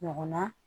Ɲɔgɔnna